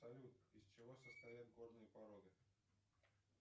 салют из чего состоят горные породы